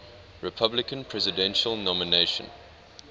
republican presidential nomination